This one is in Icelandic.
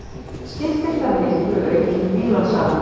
Skiptir þar miklu aukin bílasala